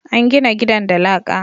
an gina gidan da laƙa